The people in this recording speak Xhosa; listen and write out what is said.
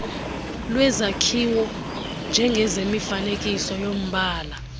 lwezakhiwo njengemifanekiso yombala